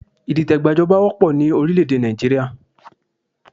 Ìdìtẹ̀gbà joba wópọ̀ ni orílẹ̀ èdè Nàìjíríà